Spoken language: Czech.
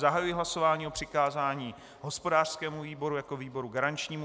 Zahajuji hlasování o přikázání hospodářskému výboru jako výboru garančnímu.